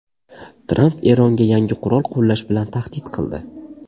Tramp Eronga yangi qurol qo‘llash bilan tahdid qildi.